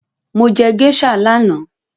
Mo jẹ géíṣà lánàá